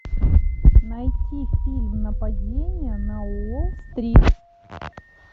найти фильм нападение на уолл стрит